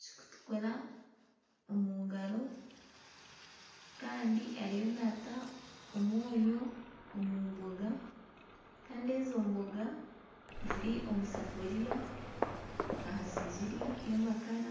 kirikutukura omu ngaro kandi ariyo naata omwonyo omu mboga kandi ezo mboga ziri omu safuriya aha sigiri y'amakara.